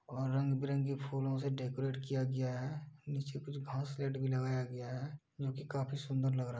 और रंग-बिरंगी फूलो से डेकोरेट किया गया है। नीचे कुछ घासलेट भी लगाया गया है जो कि काफ़ी सुन्दर लग रहा है।